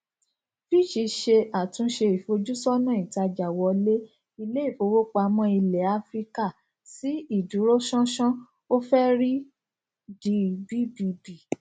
fitch ṣe àtúnṣe ìfojúsọnà ìtajàìwọlé ilé ìfowópamọ ilẹ áfíríkà sí ìdúróṣánṣán ó fẹrí di bbb